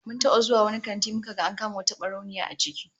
Mun taba zuwa wani kanti muka ga an kama wata barauniya a ciki